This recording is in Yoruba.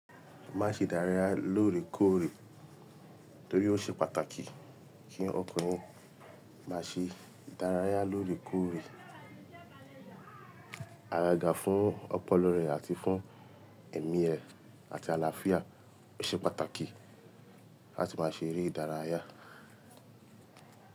Má ṣe ìdárayá lóore kóòrè torí ó ṣe pàtàkì kí ọkùnrin má ṣe ìdárayá lóore kóòrè. Agàga fún ọpọlọ rẹ̀ àti fún ẹ̀mí rẹ àti àlàáfíà oṣe pàtàkì láti má ṣe ere ìdárayá.